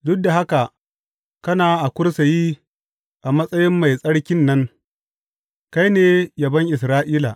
Duk da haka kana a kursiyi a matsayin Mai Tsarkin nan; kai ne yabon Isra’ila.